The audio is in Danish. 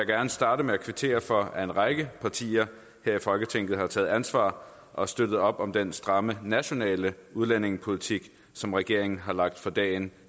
gerne starte med at kvittere for at en række partier her i folketinget har taget ansvar og støttet op om den stramme nationale udlændingepolitik som regeringen har lagt for dagen